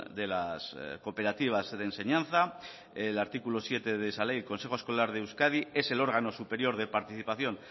de las cooperativas de enseñanza el artículo siete de esa ley el consejo escolar de euskadi es el órgano superior de participación